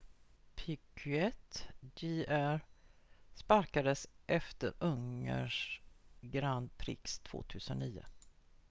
piquet jr sparkades efter ungerns grand prix 2009